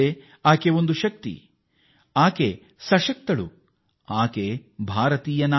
ಆಕೆ ಒಂದು ಶಕ್ತಿ ಆಕೆ ಸಶಕ್ತಳು ಆಕೆ ಶಕ್ತಿಯಾಗಿ ಬಂದ ಭಾರತೀಯ ನಾರಿ